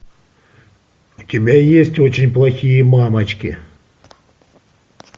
у тебя есть очень плохие мамочки